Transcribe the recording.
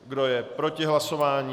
Kdo je proti hlasování?